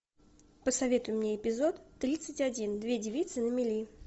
посоветуй мне эпизод тридцать один две девицы на мели